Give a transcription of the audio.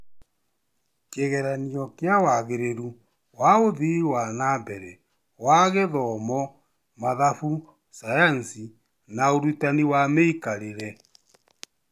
Kĩgeranio kĩa wagĩrĩru wa ũthii wa nambere wa gĩthongo, mathabu, Sayansi na ũrutani wa mĩikarĩre.